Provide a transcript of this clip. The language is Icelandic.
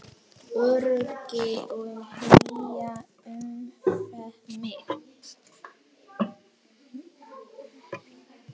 Öryggi og hlýja umvefja mig.